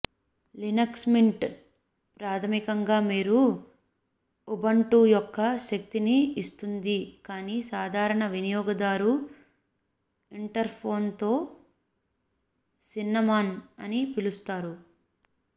Linux Mint ప్రాథమికంగా మీరు Ubuntu యొక్క శక్తిని ఇస్తుంది కానీ సాధారణ వినియోగదారు ఇంటర్ఫేస్తో సిన్నమోన్ అని పిలుస్తారు